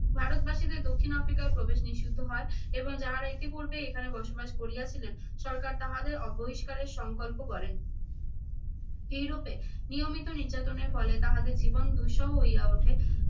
ভারতবাসীদের দক্ষিণ আফ্রিকায় প্রবেশ নিষিদ্ধ হয় এবং যাহারা ইতিপূর্বে এখানে বসবাস করিয়াছিলেন সরকার তাহাদের বহিষ্কারের সংকল্প করেন। এইরূপে নিয়মিত নির্যাতনের ফলে তাহাদের জীবন দুঃসহ হইয়া ওঠে।